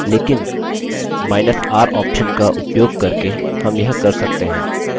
लेकिनr option का उपयोग करके हम यह कर सकते हैं